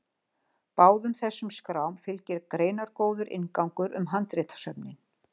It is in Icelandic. Báðum þessum skrám fylgir greinargóður inngangur um handritasöfnin.